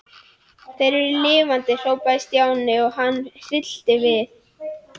Þeir eru lifandi hrópaði Stjáni og hann hryllti við.